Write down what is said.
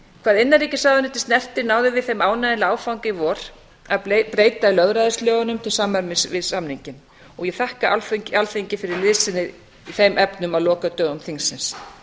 hvað innanríkisráðuneytið snertir náðum við þeim ánægjulega áfanga í vor að breyta lögræðislögunum til samræmis við samninginn og ég þakka alþingi fyrir liðsinni í þeim efnum á lokadögum þingsins